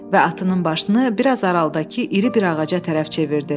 Və atının başını biraz aralıdakı iri bir ağaca tərəf çevirdi.